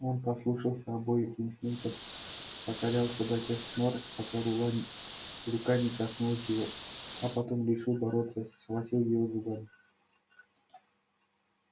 он послушался обоих инстинктов покорялся до тех нор пока рука не коснулась его а потом решил бороться и схватил её зубами